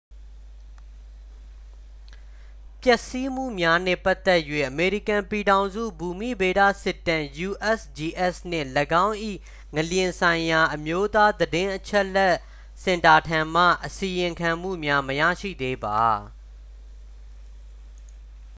ပျက်စီးမှုများနှင့်ပတ်သက်၍ အမေရိကန်ပြည်ထောင်စု ဘူမိဗေဒစစ်တမ်း usgs နှင့် ၎င်း၏ ငလျင်ဆိုင်ရာ အမျိုးသားသတင်းအချက်အလက်စင်တာထံမှ အစီရင်ခံမှုများ မရရှိသေးပါ။